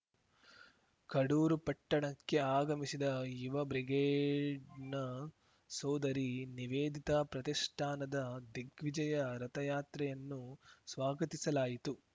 ಕಡೂರು ಪಟ್ಟಣಕ್ಕೆ ಆಗಮಿಸಿದ ಯುವ ಬ್ರಿಗೇಡ್‌ನ ಸೋದರಿ ನಿವೇದಿತಾ ಪ್ರತಿಷ್ಠಾನದ ದಿಗ್ವಿಜಯ ರಥಯಾತ್ರೆಯನ್ನು ಸ್ವಾಗತಿಸಲಾಯಿತು